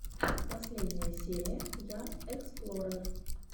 последняя серия я эксплорер